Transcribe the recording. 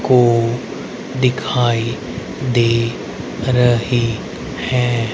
को दिखाई दे रहे है।